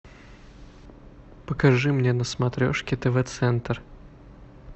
покажи мне на смотрешке тв центр